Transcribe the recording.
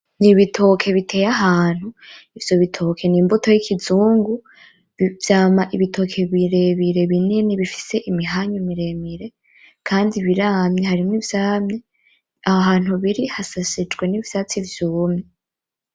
Ni ibitoke biteye ahantu , ivyo bitoke ni imbuto y'ikizungu, vyama ibitoke birebire binini bifise imihanyu miremire , kandi biramye harimwo ivyamye, aho hantu biri hashashijwe n'ivyatsi vyumye.